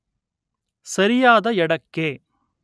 ಸರಿಯಾದ ಎಡ ಕ್ಕೆ